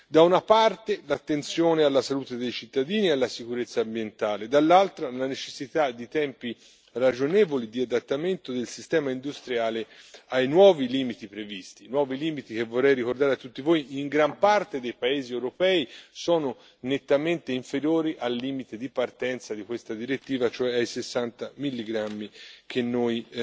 Da una parte l'attenzione alla salute dei cittadini e alla sicurezza ambientale, dall'altra la necessità di tempi ragionevoli di adattamento del sistema industriale ai nuovi limiti previsti, nuovi limiti che, vorrei ricordare a tutti voi, in gran parte dei paesi europei sono nettamente inferiori al limite di partenza di questa direttiva, cioè ai 60 milligrammi che noi